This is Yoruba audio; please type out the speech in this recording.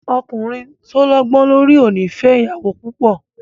Ọkùnrin tó lọ́gbó lórí ò ní fẹ ìyàwó púpọ̀.